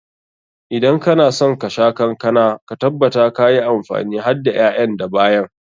Idan kana son ka sha kankana, ka tabbatar ka yi amfani hadda ƴaƴan da bayan.